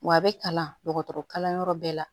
Wa a bɛ kalan dɔgɔtɔrɔ kalan yɔrɔ bɛɛ la